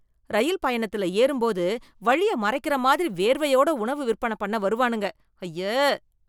ரயில் பயணத்தில ஏறும் பொது வழிய மறைக்கிற மாதிரி வேர்வையோட உணவு விற்பன பண்ண வருவானுங்க, அய்ய.